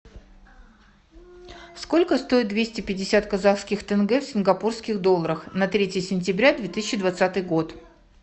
сколько стоит двести пятьдесят казахских тенге в сингапурских долларах на третье сентября две тысячи двадцатый год